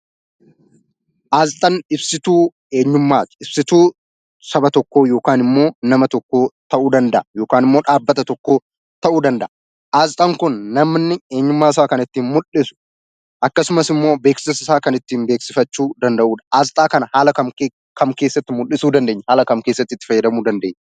Asxaan ibsituu eenyummaati. Ibsituu saba tokkoo yookaan immoo nama tokkoo ta'uu danda'a yookaan immoo dhaabbata tokkoo ta'uu danda'a. Asxaan kun namni eenyummaasaa kan ittiin mul'isu akkasumas immoo beeksisa isaa kan ittiin beeksifachuu danda'udha. Asxaa kana haala kam keessatti mul'isuu dandeenya? Haala kam keessatti itti fayyadamuu dandeenya?